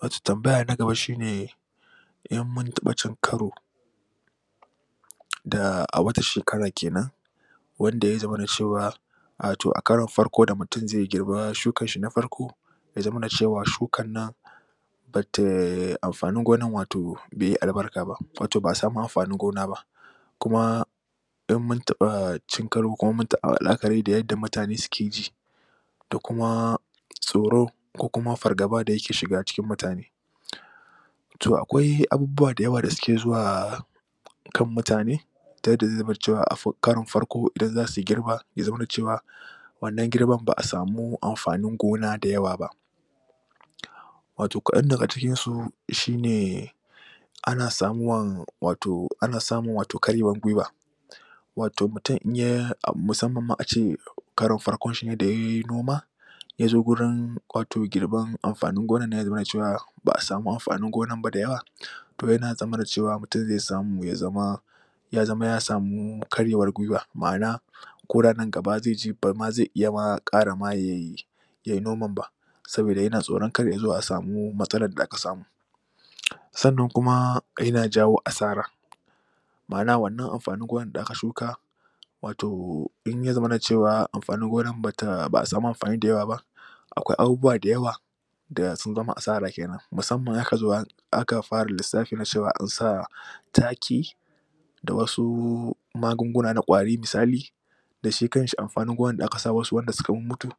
Wato tambaya na gaba shi ne in mun taɓa cin karo da a wata shekara ke nan wanda ya zamana cewa a to a karon da mutum zai girba shukarshi na farko ya zamana cewa shukar nan ba ta amfanin gonar bai yi albarka ba. Wato ba a sami amfanin gona ba. kuma in mun taɓa cin karo kuma mun taɓa la'akari da yadda mutane suke ji da kuma tsoro ko kuma fargabar da yake shiga cikin mutane to akwai abubuwa da yawa da suke zuwa a kan mutane ta yadda zai bar cewa a karon farko idan za su girba ya zamana cewa wanna girban ba a samu amfanin gona da yawa ba wato kaan daga cikinsu shi ne ana samuwan wato ana samun karyewar guiwa wato mutum in ya musamman ma a ce karon farko shi ne da ya yi noma ya zo wurin wato girban amfanin gona ya zamana cewa ba a samu amfanin gonan ba da yawa to ya zamana cewa mutum zai samu ya zama ya zama ya samu karyewar guiwa. Ma'ana ko da nan gaba zai ji bari ma zai iya ma ƙara ma ya yi yai noman ba. saboda yana tsoro kar ya zo a samu matsalar da aka samu. sannan kuma yana jawo asara. ma'ana wannan amfanin gonar da aka shuka wato in ya zamana cewa amfanin gonar ba a samu amfanin gonar da yawa ba akwai abubuwa da yawa da sun zama asara ke nan musamman in aka zo aka fara lissafi na cewa an sa taki da wasu magunguna na ƙwari misali da shi kanshi amfanin gonar da aka sa musu wanda suka mummutu.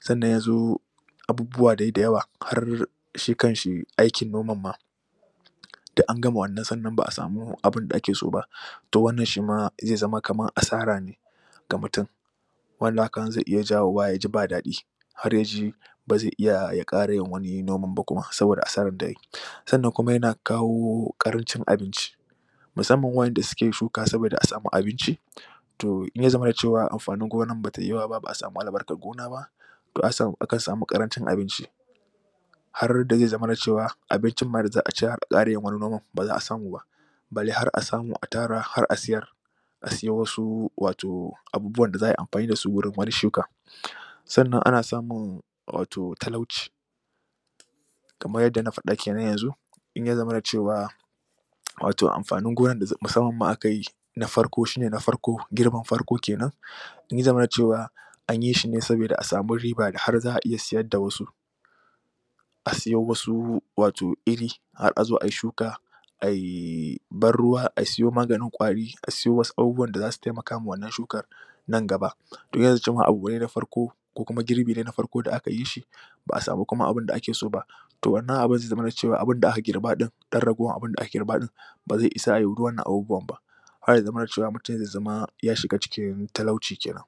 sannan ya zo abubbuwa dai da yawa har da shi kanshi aikin noman ma. duk an gama wannan sannan ba a samu abun da ake so ba to wannan shi ma zai zama kamar asara ne. ga mutum wanda haka nan zai iya jawowa ya zama ba daɗi. Har ya ji ba zai iya ya ƙara yin wani noman ba saboda asarar da ya yi sannan kuma yana kawo ƙarancin abinci Musamman waɗanda suke shuka saboda a samu abinci to in ya zamana cewa amfanin gonar bai yawa ba ba a samu albarkar gona ba to aka samu ƙarancin abinci har da zai zamana cewa abincin ma da za a ci har a ƙara wani noman ba za a samu ba. bare har a samu a tara har a siyar asiyo wasu wato abubuwan da za a yi amfani da su gurin wani shukan sannan ana samun wato talauci kamar yadda na faɗa ke nen yanzu in ya zamana cewa wato amfanin gonar musamman ma aka yi na farko shi ne na farko, girman farko ke nan in ya zamana cewa an yi shi ne saboda a samu riba da har za a iya siyar da wasu a siyo wasu wato iri har a zo a yi shuka. ai ban ruwa a siyo maganin ƙwari asiyo wasu abubuwan da za su taimaka ma wannan shukar. nan gaba to yacce ma abu ne na farko ko kuma girbi ne na farko da aka yi shi ba a samu kuma ma abin da ake so ba to wannan abun zai zamana cewa abinda aka girba ɗin ɗan ragowar abinda aka girba ɗin ba zai isa ai duk wannan abubuwan ba. har ya zamana cewa mutum zai zama ya shiga cikin talauci ke nan.